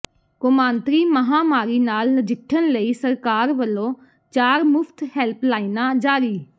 ਕੌਮਾਂਤਰੀ ਮਹਾਂਮਾਰੀ ਨਾਲ ਨਜਿਠਣ ਲਈ ਸਰਕਾਰ ਵੱਲੋਂ ਚਾਰ ਮੁਫਤ ਹੈਲਪਲਾਈਨਾਂ ਜਾਰੀ